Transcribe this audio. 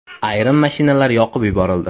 Ayrim mashinalar yoqib yuborildi.